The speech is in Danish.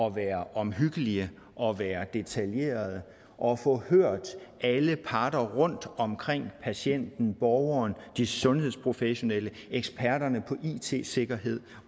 at være omhyggelige og være detaljerede og få hørt alle parter rundt omkring patienten borgeren de sundhedsprofessionelle eksperterne på it sikkerhed